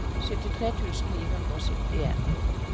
syttitre tusen ni hundre og syttien